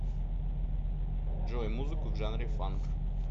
джой музыку в жанре фанк